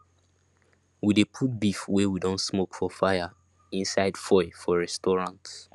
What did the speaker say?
we de put beef wey we don smoke for fire inside foil for restaurants